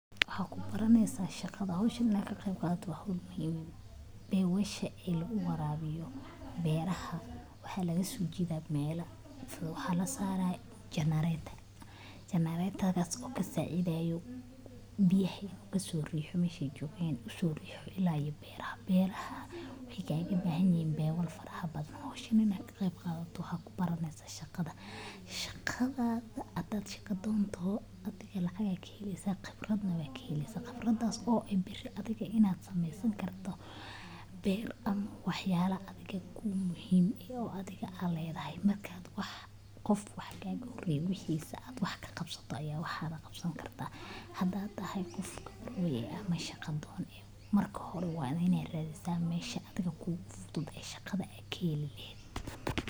Maxaa ku baranaysaa hawshan inaad ka qeyb qaadato? Waa hawl muhiim ah. Pipes-ka lagu waraabiyo beeraha waxaa laga soo jeedaa meelaha fog. Waxaa la saarayaa generator kaas oo ka caawinayo in biyaha ka soo riixo meesha ay joogeen, una soo riixo ilaa beeraha. Beeraha waxay kaga baahan yihiin pipe-yo farabadan. Hawshan inaad ka qeyb qaadato waxaad ku baranaysaa shaqada, haddaad shaqo doon tahay. Lacagna waad ka helaysaa, khibradna waad ka helaysaa — khibraddaas oo ah in berri aad iskaa u samaysan karto beer, ama waxyaalo adiga kuu muhiim ah, oo adhiga aad leedahay. Marka qof wax kaa horeeyay wixiisa aad ka qabato, ayaa wax lagaaga qaban karaa. Haddaad tahay qof kabarwa ah ama shaqo-doon ah, marka hore waa inaad raadisaa meesha adiga kugu fudud ee shaqada aad ka heli lahayd